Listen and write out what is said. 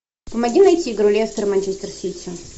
помоги найти игру лестер манчестер сити